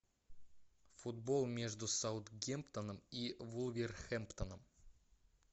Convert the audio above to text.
футбол между саутгемптоном и вулверхэмптоном